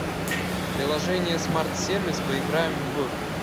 приложение смарт сервис поиграем в